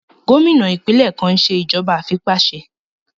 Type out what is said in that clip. Gómìnà ìpínlẹ̀ kan n ṣe ìjọba àìfipáṣe